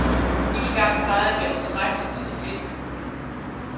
Én gang plejer at være tilstrækkeligt til de fleste hunde.